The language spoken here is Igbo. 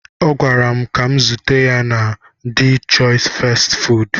Ọ gwara m ka m zute ya na de chois fastị fụụdụ.